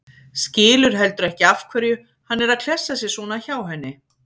Skilur heldur ekki af hverju hann er að klessa sér svona hjá henni.